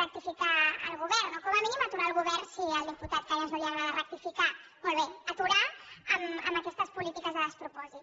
rectificar al govern o com a mínim aturar el govern si al diputat cañas no li agrada rectificar molt bé aturar lo en aquestes polítiques de despropòsit